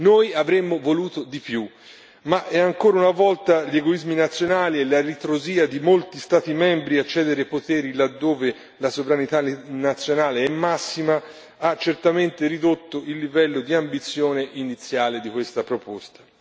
Noi avremmo voluto di più ma ancora una volta gli egoismi nazionali e la ritrosia di molti Stati membri a cedere poteri laddove la sovranità nazionale è massima ha certamente ridotto il livello di ambizione iniziale di questa proposta.